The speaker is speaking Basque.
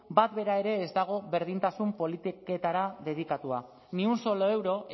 bat bera ere ez dago berdintasun politiketara dedikatuta ni un solo euro